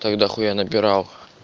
тогда хуя набирал